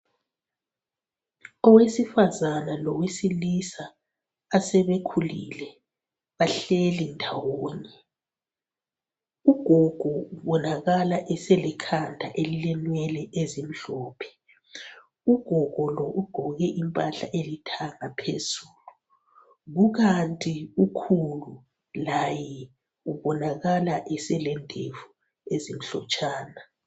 Owesifazana lowesilisa assbekhulile bahleli ndawonye. Ugogo ubonakala eselekhanda elilenwele ezimhlophe. Ugogo lo ugqoke impahla elithanga phezulu kukanti ukhulu laye ubonakala eselendevu ezimhlotshana.